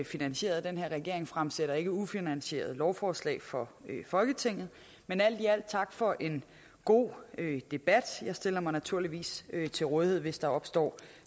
finansieret den her regering fremsætter ikke ufinansierede lovforslag for folketinget men alt i alt tak for en god debat jeg stiller mig naturligvis til rådighed hvis der opstår